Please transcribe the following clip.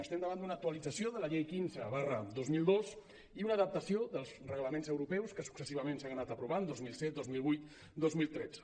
estem davant d’una actualització de la llei quinze dos mil dos i una adaptació dels reglaments europeus que successivament s’han anat aprovant dos mil set dos mil vuit dos mil tretze